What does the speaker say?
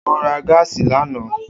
O ra gáásì lana.